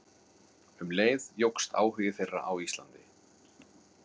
Um leið jókst áhugi þeirra á Íslandi.